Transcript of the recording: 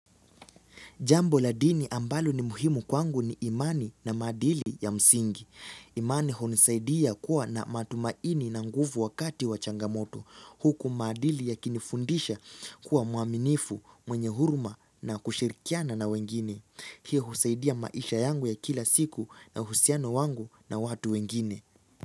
Jambo la dini ambalo ni muhimu kwangu ni imani na madili ya msingi. Imani hunisaidia kuwa na matumaini na nguvu wakati wa changamoto. Huku madili ya kinifundisha kuwa muaminifu, mwenye huruma na kushirikiana na wengine. Hii husaidia maisha yangu ya kila siku na husiano wangu na watu wengine.